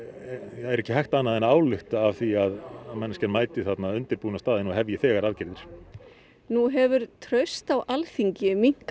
er ekki hægt annað en að álykta af því að manneskjan mæti þarna undirbúin á staðinn og hefji þegar aðgerðir nú hefur traust á Alþingi minnkað